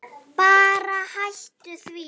Bara hætta því.